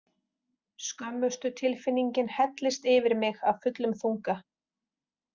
Skömmustutilfinningin hellist yfir mig af fullum þunga.